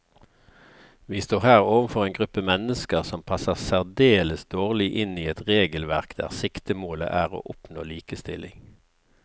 Vi står her overfor en gruppe mennesker som passer særdeles dårlig inn i et regelverk der siktemålet er å oppnå likestilling.